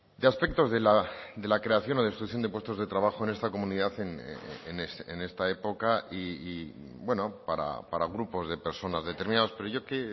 de aspectos de la creación o destrucción de puestos de trabajo en esta comunidad en esta época y para grupos de personas determinados pero yo que he